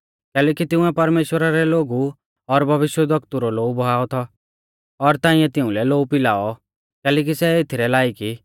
कैलैकि तिंउऐ परमेश्‍वरा रै लोगु और भविष्यवक्तु रौ लोऊ बहाऔ थौ और ताइंऐ तिउंलै लोऊ पिलाऔ कैलैकि सै एथीरै लायक ई